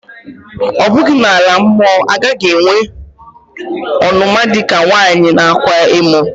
Ọ̀ bughi na-ala-mọ agaghi-enwe ọnuma dika nwanyi nākwa emò?